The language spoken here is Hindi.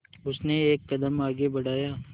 उसने एक कदम आगे बढ़ाया